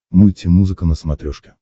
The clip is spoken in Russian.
мультимузыка на смотрешке